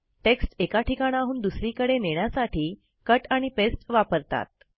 text एका ठिकाणाहून दुसरीकडे नेण्यासाठी कट आणि पास्ते वापरतात